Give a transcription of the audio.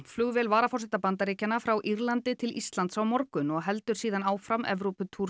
flugvél varaforseta Bandaríkjanna frá Írlandi til Íslands á morgun og heldur síðan áfram